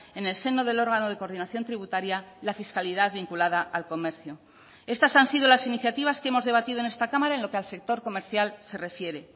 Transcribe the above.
en el seno del órgano de coordinación tributaria la fiscalidad vinculada al comercio estas han sido las iniciativas que hemos debatido en esta cámara en lo que al sector comercial se refiere